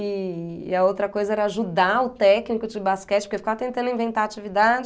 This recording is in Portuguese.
E e a outra coisa era ajudar o técnico de basquete, porque eu ficava tentando inventar atividade.